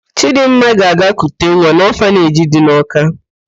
Chịdịmma ga-aga kute nwa n'ọfaneji dị na Ọka.